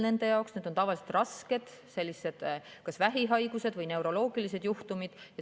Need on tavaliselt kas rasked vähihaigused või neuroloogilised juhtumid.